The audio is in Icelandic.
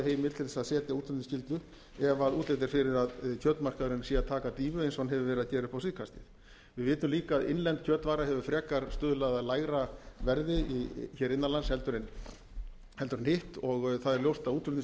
heimild til þess að setja útflutningsskyldu ef útlit er fyrir að kjötmarkaðurinn sé að taka dýfu eins og hann hefur verið að gera upp á síðkastið við vitum líka að innlend kjötvara hefur frekar stuðlað að lægra verði hér innan lands en hitt og það er ljóst að útflutningsskyldan hefur alls ekki